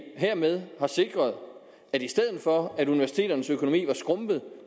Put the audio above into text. hermed har sikret at i stedet for at universiteternes økonomi var skrumpet